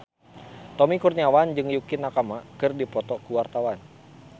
Tommy Kurniawan jeung Yukie Nakama keur dipoto ku wartawan